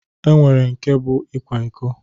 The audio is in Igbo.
E nwere nke bụ ịkwa iko